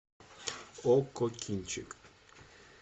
окко кинчик